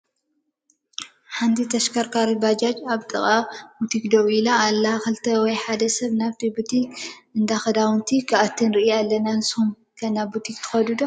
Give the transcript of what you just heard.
ሓንቲ ተሽከርካሪት ባጃጅ ኣብ ጥቃ ቡቲክ ደው ኢላ ኣላ፡፡ 2 ወይ 1 ሰብ ናብቲ ቡቲክ ናይ ክዳን ክኣትው ንሪኢ ኣለና፡፡ ንስኹም ከ ናብ ቡቲክ ዶ ትኸዱ?